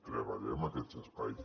treballem aquests espais